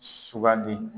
Sugandi